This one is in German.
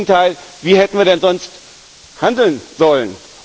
Ganz im Gegenteil, wie hätten wir denn sonst handeln sollen?